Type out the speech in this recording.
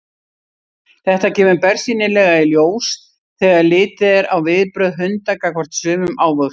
Þetta kemur bersýnilega í ljós þegar litið er á viðbrögð hunda gagnvart sumum ávöxtum.